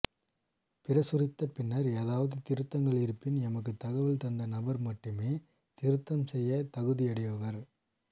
பிரசுரித்த பின்னர் ஏதாவது திருத்தங்கள் இருப்பின் எமக்கு தகவல் தந்த நபர் மட்டுமே திருத்தம் செய்ய தகுதியுடையவர்